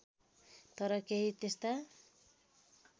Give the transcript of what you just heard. तर केही त्यस्ता